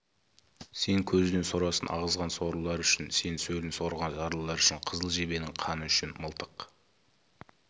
сен көзінен сорасын ағызған сорлылар үшін сен сөлін сорған жарлылар үшін қызыл жебенің қаны үшін мылтық